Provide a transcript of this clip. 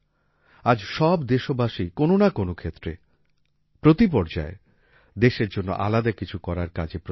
আজ সব দেশবাসী কোন না কোন ক্ষেত্রে প্রতি পর্যায়ে দেশের জন্য আলাদা কিছু করার কাজে প্রচেষ্ট